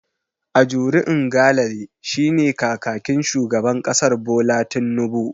Ajuri Ngalale shine kakakin shugaban kasar Bola Tinnubu.